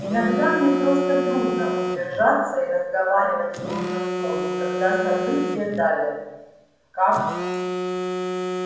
иногда мне просто трудно удержаться и разговаривать в нужном тоне когда события давят как